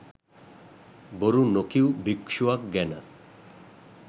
බොරු නොකීව් භික්‍ෂුවක් ගැන.